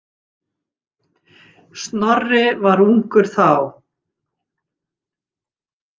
Snorri var ungur þá.